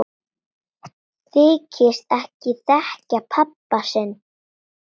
Þykist ekki þekkja pabba sinn!